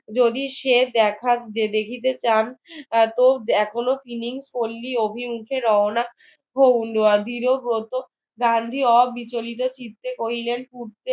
যদি সে দেখা দেখিতে চান তো এখনো তিনি পল্লী অভিমুখে রওনা হউন গান্ধী অবিচিলিত চিত্তে কহিলেন